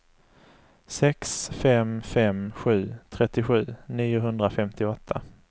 sex fem fem sju trettiosju niohundrafemtioåtta